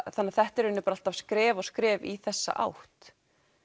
þannig að þetta er alltaf skref og skref í þessa átt